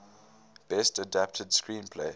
best adapted screenplay